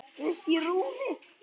Uppí rúmi.